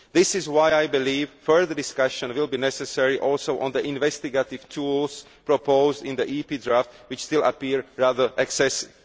This is why I believe further discussions will be necessary also on the investigative tools proposed in the Parliament draft, which still appear rather excessive.